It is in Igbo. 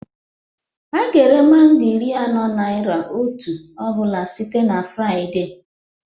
A ga-ere mango iri anọ naịra otu ọ bụla site na Fraịde